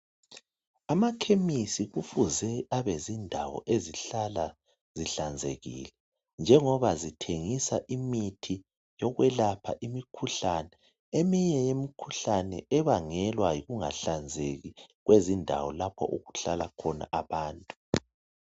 Amakhemisi kufuze abezindawo ezihlala zihlanzekile njengoba zithengisa imithi yokwelapha imikhuhlane eminye yemikhuhlane ebangelwa yikungahlanzeki kwezindawo lapho okuhlala khona abantu